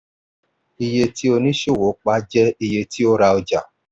iye tí oníṣòwò pa jẹ iye tí ó ra ọjà.